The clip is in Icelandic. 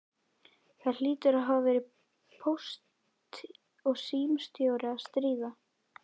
Það hlýtur að hafa verið póst- og símamálastjóri að stríða!